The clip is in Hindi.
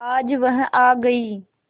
आज वह आ गई